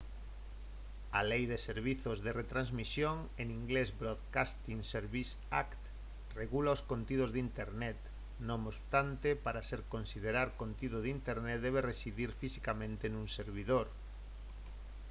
a lei de servizos de retransmisión en inglés broadcasting services act regula os contidos de internet; non obstante para se considerar contido de internet debe residir fisicamente nun servidor